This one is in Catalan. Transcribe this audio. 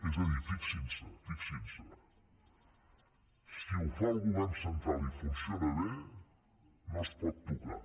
és a dir fixin s’hi fixin s’hi si ho fa el govern central i funciona bé no es pot tocar